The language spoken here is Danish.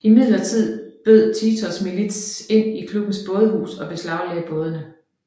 Imidlertid brød Titos milits ind i klubbens bådehus og beslaglagde bådene